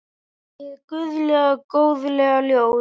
Hið guðlega góðlega ljós.